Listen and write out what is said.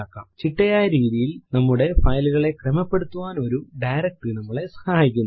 ചിട്ടയായ രീതിയിൽ നമ്മുടെ file കളെ ക്രമപ്പെടുത്താൻ ഒരു ഡയറക്ടറി നമ്മളെ സഹായിക്കുന്നു